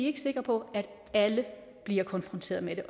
ikke sikre på at alle bliver konfronteret med